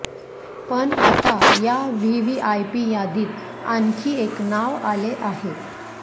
पण आता या व्हीव्हीआयपी यादीत आणखी एक नाव आले आहे